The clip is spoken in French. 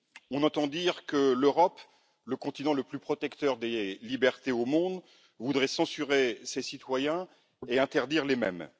On entend dire que l'Europe, continent le plus protecteur des libertés au monde, voudrait censurer ses citoyens et interdire les mèmes.